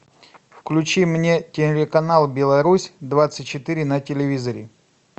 включи мне телеканал беларусь двадцать четыре на телевизоре